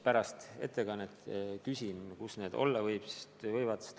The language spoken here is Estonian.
Pärast ettekannet ma küsin, kus need olla võivad.